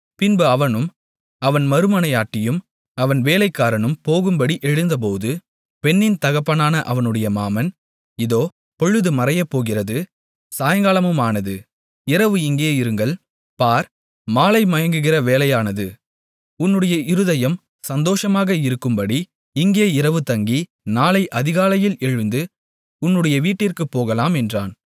பின்பு அவனும் அவன் மறுமனையாட்டியும் அவன் வேலைக்காரனும் போகும்படி எழுந்தபோது பெண்ணின் தகப்பனான அவனுடைய மாமன் இதோ பொழுது மறையப்போகிறது சாயங்காலமுமானது இரவு இங்கே இருங்கள் பார் மாலைமயங்குகிற வேளையானது உன்னுடைய இருதயம் சந்தோஷமாக இருக்கும்படி இங்கே இரவு தங்கி நாளை அதிகாலையில் எழுந்து உன்னுடைய வீட்டிற்குப் போகலாம் என்றான்